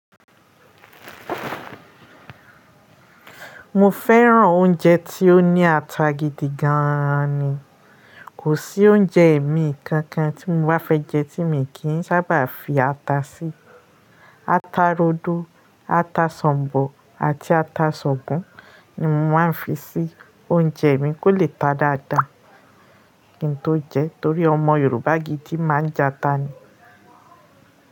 Mo fẹ́ràn oúnjẹ tí ó ní ata gidi gan ni. Kò sí oúnjẹ ẹ̀mí kankan tí mo bá fẹ́ jẹ tí èmi kì í sábà fi ata sí. Ata rodo, ata ṣọ̀bọ̀ àti ata ṣọ̀kùn ni mo máa ń fi sí oúnjẹ mi kó lè ta dáadáa kí n tó jẹ ẹ torí ọmọ Yorùbá gidi máa ń jẹ ata ni.